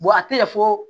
a tɛ fɔ